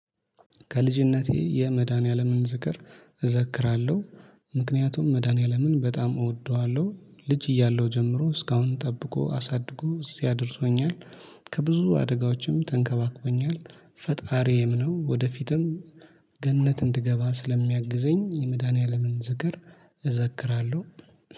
ከልጅነቴ የመድኃኒዓለምን ዝክር እዘክራለሁ። ምክንያቱም መድኃኒዓለምን በጣም እወደዋለሁ ልጅ እያለሁ ጀምሮ እስካሁን ጠብቆ አሳድጎ እዚያ አድርሶኛል። ከብዙ አደጋዎችም ተንከባክቦኛል። ፈጣሪዬም ነው። ወደፊትም ገነት እንድገባ ስለሚያግዘኝ የመድኃኒዓለምን ዝክር እዘክራለሁ